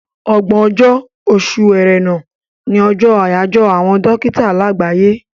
Ọgbọ̀n ọjọ́, oṣù Ẹrẹ́nà, ní ọjọ́ àyájọ́ àwọn dókítà láàgbáyé.